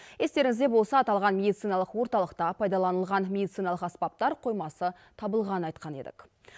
естеріңізде болса аталған медициналық орталықта пайдаланылған медициналық аспаптар қоймасы табылғанын айтқан едік